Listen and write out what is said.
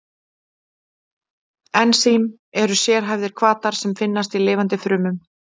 Ensím eru sérhæfðir hvatar sem finnast í lifandi frumum.